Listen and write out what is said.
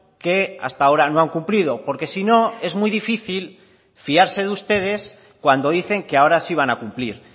que hasta ahora no han cumplido porque si no es muy difícil fiarse de ustedes cuando dicen que ahora sí van a cumplir